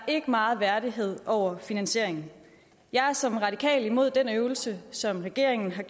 ikke meget værdighed over finansieringen jeg er som radikal mod denne øvelse som regeringen har